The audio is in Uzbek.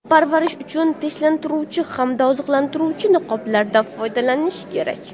Parvarish uchun tinchlantiruvchi hamda oziqlantiruvchi niqoblardan foydalanish kerak.